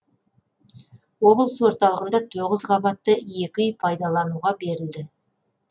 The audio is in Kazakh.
облыс орталығында тоғыз қабатты екі үй пайдалануға берілді